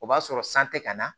O b'a sɔrɔ san tɛ ka na